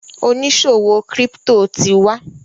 oniṣòwo crypto tí wá.